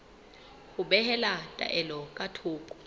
ho behela taelo ka thoko